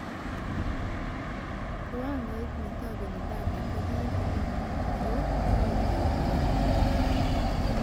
Kiwangoit netobeni data kokitigin ak kouy kenyor